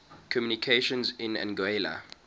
communications in anguilla